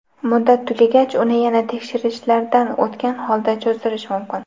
Muddat tugagach uni yana tekshirishlardan o‘tgan holda cho‘zdirish mumkin”.